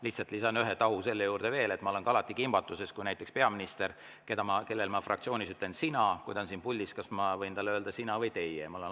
Lihtsalt lisan ühe tahu selle juurde veel, et ma olen alati kimbatuses, kui näiteks peaminister, kellele ma fraktsioonis ütlen "sina", on siin puldis, et kas ma siis võin talle öelda "sina" või peaksin ütlema "teie".